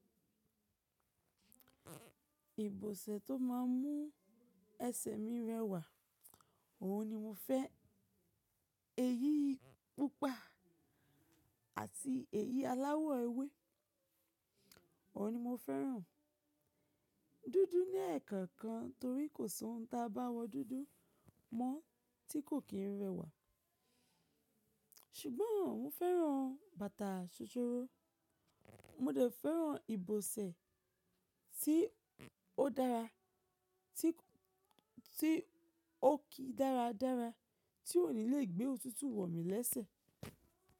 Ìbọ̀sẹ̀ tó máà ń mú ẹsẹ̀ mi rẹwà, òhun ni mo fẹ́. Èyí pupa àti èyí aláwọ̀ ewé, ọ̀hun ni mo fẹ́ràn. Dúdú ni ẹ̀ẹ̀kan kan torí kò sóhun táa bá wọ dúdú mọ́ tí kò kín rẹwà. Ṣùgbọ́n mo fẹ́ràn bàtà ṣòṣòro. Mo dẹ̀ fẹ́ràn ìbọ̀sẹ̀ tí ó dára, tí ó ki dáradára, tí òní le gbé òtútù wọ̀ mí lẹ́sẹ̀.